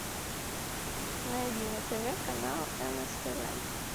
найди на тв канал нств